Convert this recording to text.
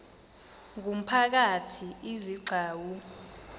ngumphakathi izi gcawu